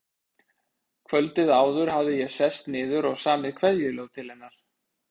Kvöldið áður hafði ég sest niður og samið kveðjuljóð til hennar.